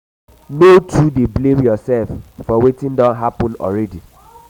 no too dey blame dey blame urself for wetin don hapun already